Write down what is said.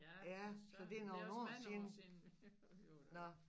Ja for Søren det er også mange år siden vi var dér